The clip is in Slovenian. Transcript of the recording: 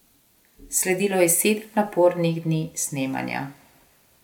Sledilo je sedem napornih dni snemanja.